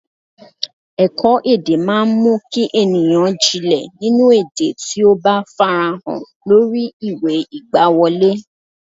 Ẹ̀kọ́-èdè máa ń mú kí ènìyàn jìnlẹ̀ nínú èdè tí ó bá farahàn lórí ìwé ìgbàwọlé.